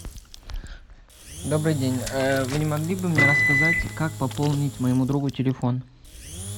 добрый день вы не могли бы мне рассказать как пополнить моему другу телефон